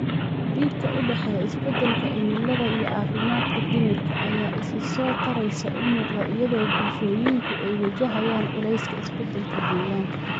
Xidhiidhka u dhexeeya isbeddelka cimilada iyo caafimaadka dhimirka ayaa si isa soo taraysa u muuqda iyadoo bulshooyinku ay wajahayaan culayska isbeddelka deegaanka.